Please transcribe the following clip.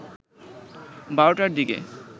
১২টার দিকে